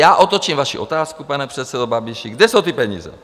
Já otočím vaši otázku: Pane předsedo Babiši, kde jsou ty peníze?